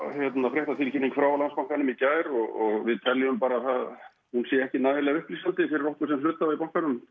fréttatilkynning frá Landsbankanum í gær og við teljum að hún sé ekki nægilega upplýsandi fyrir okkur sem hluthafa í bankanum